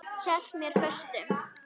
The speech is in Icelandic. Hélt mér föstum.